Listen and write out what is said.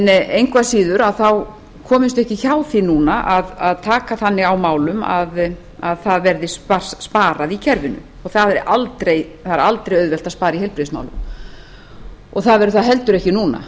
engu að síður komumst við ekki hjá því núna að taka þannig á málum að það verði sparað í kerfinu það er aldrei auðvelt að spara í heilbrigðismálum og það verður heldur ekki núna